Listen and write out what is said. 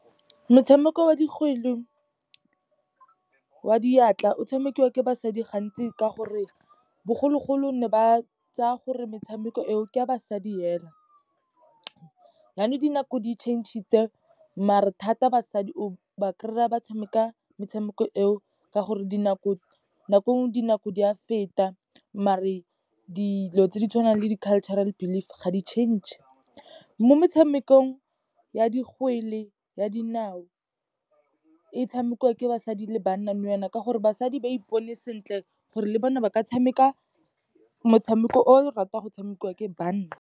Metshameko wa dikgwele wa diatla, o tshamekiwa ke basadi gantsi ka gore bogologolo ne ba tsaya gore metshameko eo, ke a basadi fela. Janong dinako di-change-itse, maar-e thata basadi o ba kry-a ba tshameka metshameko eo ka gore dinako di a feta, maar-e dilo tse di tshwanang le di cultural believe ga di-change-e. Mo metshamekong ya dikgwele ya dinao, e tshamekiwa ke basadi le banna nou yana ka gore, basadi ba ipone sentle gore le bona ba ka tshameka motshameko o o ratang go tshamekiwa ke banna.